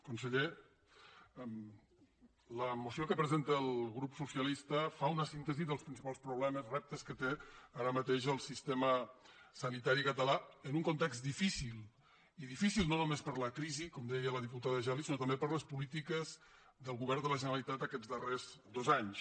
conseller la moció que presenta el grup socialista fa una síntesi dels principals problemes reptes que té ara mateix el sistema sanitari català en un context difícil i difícil no només per la crisi com deia la diputada geli sinó també per les polítiques del govern de la generalitat aquests darrers dos anys